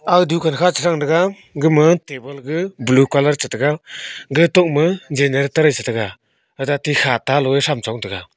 aga dukan kha chethang taga gama table ga blue colour cha taga gatokma generator e chetaga athate khata loe cham chong taga.